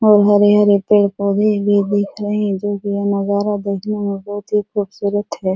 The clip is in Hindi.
और हरे-हरे पेड़-पौधे भी दिख रहे हैं जो कि यह नजारा देखने में बहुत ही खूबसूरत है।